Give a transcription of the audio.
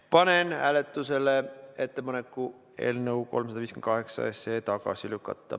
Panen hääletusele ettepaneku eelnõu 358 tagasi lükata.